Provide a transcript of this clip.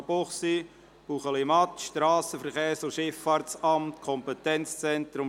«Münchenbuchsee, Buechlimatt, Strassenverkehrs- und Schifffahrtsamt […